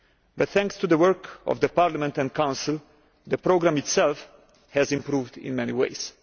But thanks to the work of Parliament and the Council, the programme itself has improved in many ways.